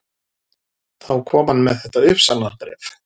Þá kom hann með þetta uppsagnarbréf